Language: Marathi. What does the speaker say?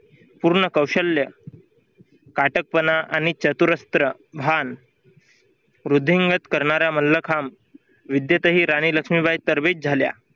पूर्ण कौशल्य काटकपणा आणि चतुरस्त्र भान वृद्धिंगत करणाऱ्या मल्लखांब विद्येतही राणी लक्ष्मीबाई तर्फे झाल्या.